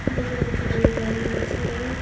ভিতরে একটি বড় গাড়ি আছে।